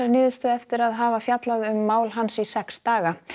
niðurstöðu eftir að hafa fjallað um mál hans í sex daga